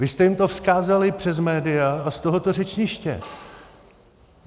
Vy jste jim to vzkázali přes média a z tohoto řečniště.